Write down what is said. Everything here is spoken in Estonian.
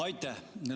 Aitäh!